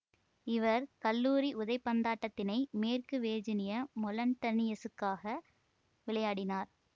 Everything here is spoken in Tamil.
இவர் கல்லூரி உதைபந்தாட்டத்தினை மேற்கு வேர்ஜீனிய மொளன்டனியஸுக்காக விளையாடினார்